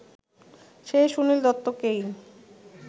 সেই সুনীল দত্তকেই